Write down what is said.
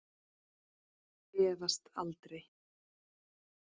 Efast aldrei.